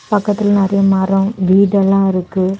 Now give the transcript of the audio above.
பக்கத்துல நெறைய மரம் வீடு எல்லாம் இருக்கு.